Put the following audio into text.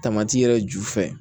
yɛrɛ ju fɛ